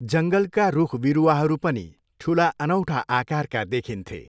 जङ्गलका रुख बिरुवाहरू पनि ठुला अनौठाे आकारका देखिन्थे।